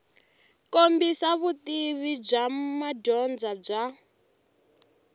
kombisa vutivi bya madyondza bya